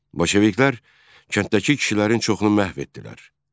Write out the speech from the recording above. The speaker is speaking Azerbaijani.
Bolşeviklər kənddəki kişilərin çoxunu məhv etdilər.